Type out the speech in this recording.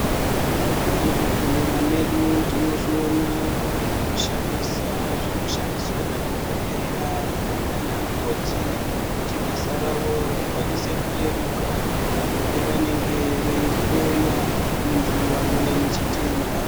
Muzvibhehlera medu tinozviona kuti mune zvekushandisa zvinoshandiswa nadhokoteya nanamukoti kuti basa ravo rikwanise kureruka apo pavanenge veihloya muntu wauya nechitenda.